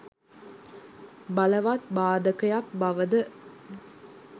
බලවත් බාධකයක් බව ද